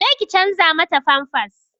Je ki canza mata famfas!